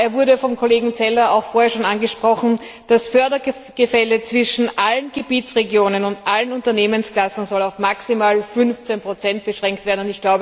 Er wurde vom Kollegen Zeller auch vorher schon angesprochen Das Fördergefälle zwischen allen Gebietsregionen und allen Unternehmensklassen soll auf maximal 15 beschränkt werden.